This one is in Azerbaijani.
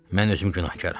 Mən özüm günahkaram.